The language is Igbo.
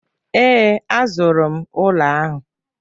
Ee, a zụrụ m ụlọ ahụ.